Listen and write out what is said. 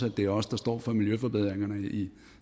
at det er os der står for miljøforbedringerne i